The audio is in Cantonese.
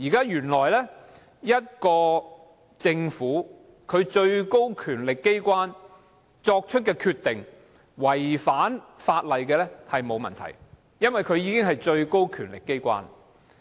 原來政府的最高權力機關作出的決定違反法例是沒有問題的，因為它是最高權力機關。